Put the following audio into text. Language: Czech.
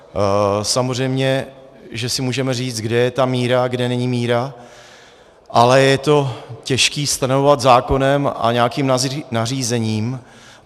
Samozřejmě že si můžeme říct, kde je ta míra, kde není míra, ale je to těžké stanovovat zákonem a nějakým nařízením.